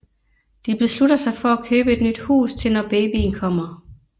De beslutter sig for at købe et nyt hus til når babyen kommer